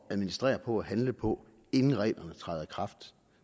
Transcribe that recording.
at administrere og handle på inden reglerne træder i kraft